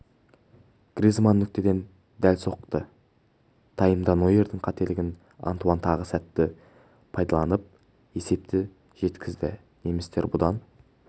гризманн нүктеден дәл соқты таймда нойердің қателігін антуанн тағы сәтті пайдаланып есепті жеткізді немістер бұдан